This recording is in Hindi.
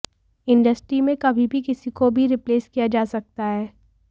इंडस्ट्री में कभी भी किसी को भी रिप्लेस किया जा सकता है